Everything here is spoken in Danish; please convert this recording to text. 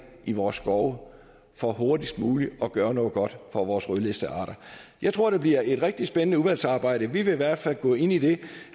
i vores skove for hurtigst muligt at gøre noget godt for vores rødlistede arter jeg tror det bliver et rigtig spændende udvalgsarbejde vi vil i hvert fald gå ind i det